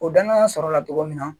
O dannan sɔrɔla togo min na